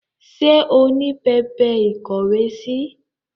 Ṣé o ní pẹpẹ ìkówèésí?